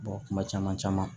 kuma caman caman